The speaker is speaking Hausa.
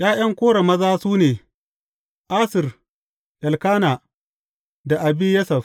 ’Ya’yan Kora maza, su ne, Assir, Elkana da Abiyasaf.